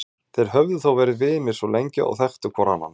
Þeir höfðu þó verið vinir svo lengi og þekktu hvor annan.